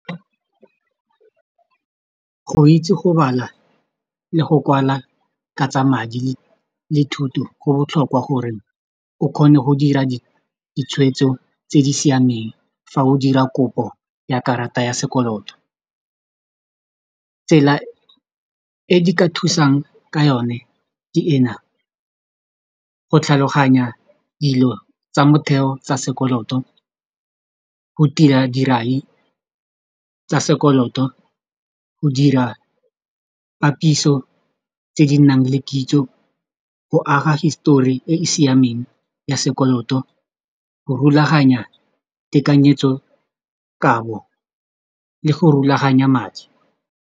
Go itse go bala le go kwala ka tsa madi le thuto go botlhokwa gore o kgone go dira ditshweetso tse di siameng fa o dira kopo ya karata ya sekoloto tsela e di ka thusang ka yone ke ena go tlhaloganya dilo tsa motheo tsa sekoloto go tila dirai tsa sekoloto go dira papiso tse di nang le kitso go aga histori e e siameng ya sekoloto go rulaganya tekanyetsokabo le go rulaganya madi.